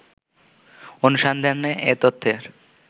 অনুসন্ধানে এ তথ্যের